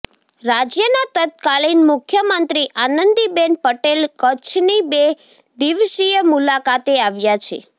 રાજ્યના તત્કાલીન મુખ્યમંત્રી આનંદીબેન પટેલ કચ્છની બે દિવસીય મુલાકાતે આવ્યા છે